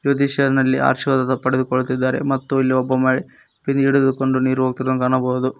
ಜ್ಯೋತಿಷ್ಯರನಲ್ಲಿ ಆಶೀರ್ವಾದದ ಪಡೆದುಕೊಳ್ಳುತ್ತಿದ್ದಾರೆ ಮತ್ತು ಮಹಿ ಬಿಂದಿಗೆ ಹಿಡಿದುಕೊಂಡು ನೀರು ಹೋಗುತಿರುವುದನ್ನು ಕಾಣಬಹುದು.